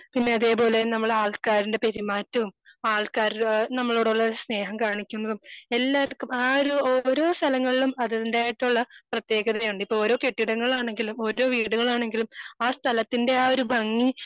പിന്നെ അതേ പോലെ നമ്മള് ആൾക്കാരിന്റെ പെരുമാറ്റോം ആൾക്കാര് നമ്മളോടുള്ള സ്നേഹം കാണിക്കുമ്പോഴും എല്ലാര്ക്കും ആഹ് ഒരു ഓരോ സ്ഥലങ്ങളിലും അതിന്റേതായിട്ടുള്ള പ്രതേകതയാണ് ഇപ്പൊ ഓരോ കെട്ടിടങ്ങളാണെങ്കിലും ഓരോ വീടുകളാണെങ്കിലും ആഹ് സ്ഥലത്തിന്റെ ആഹ് ഒരു ഭംഗി